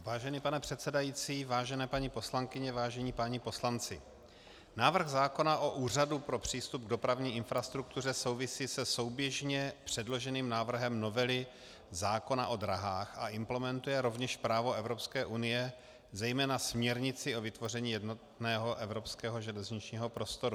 Vážený pane předsedající, vážené paní poslankyně, vážení páni poslanci, návrh zákona o Úřadu pro přístup k dopravní infrastruktuře souvisí se souběžně předloženým návrhem novely zákona o dráhách a implementuje rovněž právo Evropské unie, zejména směrnici o vytvoření jednotného evropského železničního prostoru.